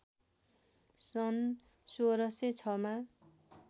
सन् १६०६ मा